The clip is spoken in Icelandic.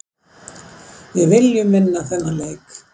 Við viljum vinna þennan leik.